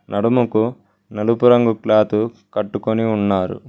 నడుముకు నలుపు రంగు క్లాత్ కట్టుకొని ఉన్నారు.